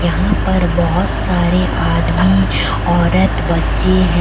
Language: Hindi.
यहाँ पर बहोत सारे आदमी औरत बच्चें है।